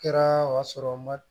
Kɛra o y'a sɔrɔ n ma